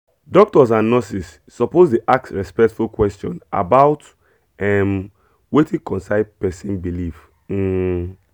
doctors and nurses suppose dey ask respectful question about um wetin concern person belief um